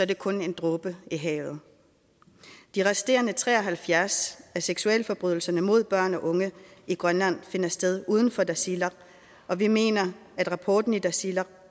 det kun en dråbe i havet de resterende tre og halvfjerds af seksualforbrydelserne mod børn og unge i grønland finder sted uden for tasiilaq og vi mener at rapporten i tasiilaq